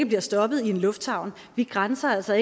blive stoppet i en lufthavn vi grænser altså